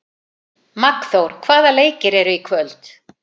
Magnþór, hvaða leikir eru í kvöld?